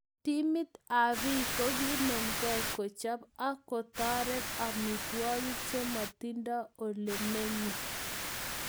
Timit ab biik kokinemke kochop ak kotoret amitwokik che matindo olemenye